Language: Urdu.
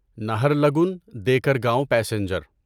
نہرلگن دیکرگاؤں پیسنجر